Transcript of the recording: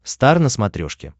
стар на смотрешке